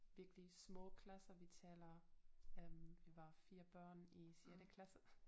Virkelig små klasser vi taler øh vi var 4 børn i sjette klasse